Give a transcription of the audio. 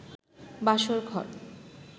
বাসর ঘর